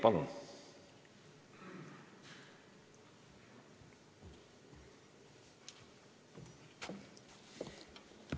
Palun!